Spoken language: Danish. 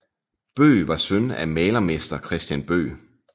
Bøgh var søn af malermester Christian Bøgh